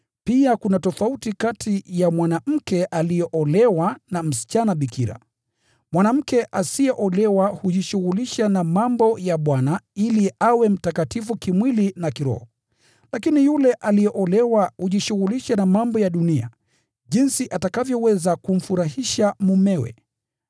na mawazo yake yamegawanyika. Mwanamke asiyeolewa hujishughulisha na mambo ya Bwana: lengo lake ni awe mtakatifu kimwili na kiroho. Lakini yule aliyeolewa hujishughulisha na mambo ya dunia, jinsi atakavyoweza kumfurahisha mumewe.